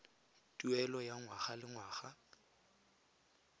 tuelo ya ngwaga le ngwaga